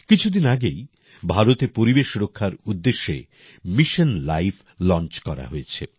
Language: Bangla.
কিছুদিন আগেই ভারতে পরিবেশরক্ষার উদ্দেশ্যে মিশন লাইফ লঞ্চ করা হয়েছে